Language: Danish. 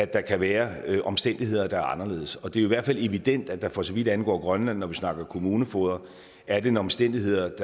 der kan være omstændigheder der er anderledes det er i hvert fald evident at der for så vidt angår grønland når vi snakker kommunefogeder er en omstændighed